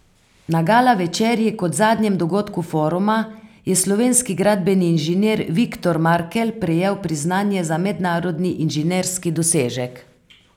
Na gala večerji, kot zadnjem dogodku foruma, je slovenski gradbeni inženir Viktor Markelj prejel priznanje za mednarodni inženirski dosežek.